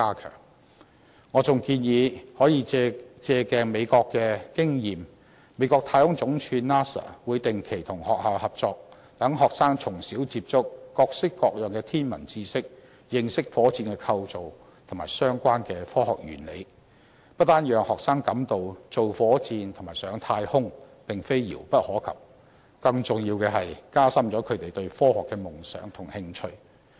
此外，我還建議可以借鏡美國的經驗。美國太空總署會定期與學校合作，讓學生從小接觸各式各樣的天文知識，認識火箭構造及相關的科學原理，不單讓學生感到造火箭和上太空並非遙不可及，更加重要的是，加深他們對科學的夢想和興趣。